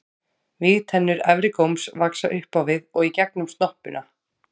Vígtennur efri góms vaxa upp á við og í gegnum snoppuna.